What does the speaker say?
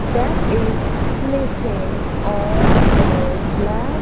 that is plating on the black --